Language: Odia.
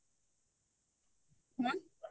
କଣ